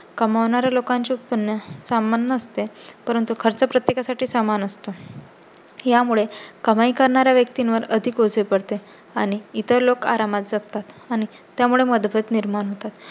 कमावणारे लोकांचे उत्पन्न सामान नसते, परंतु खर्च प्रत्येका साठी समान असतो. यामुळे कमाई करणारा व्यक्तीवर अधिकओझे पडते आणि इतर लोक आरामात जातात आणि त्यामुळे मतभेद निर्माण होतात.